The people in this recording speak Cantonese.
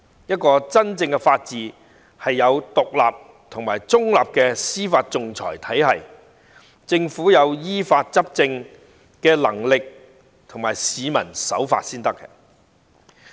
真正的法治必須擁有獨立和中立的司法訟裁制度，政府要有依法執政的能力，而市民亦要守法才行。